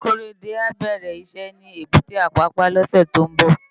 Korede á bèrè iṣè ni ébùté Apapa lòsè tó n bò